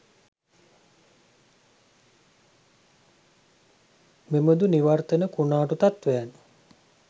මෙබඳු නිවර්තන කුණාටු තත්ත්වයන්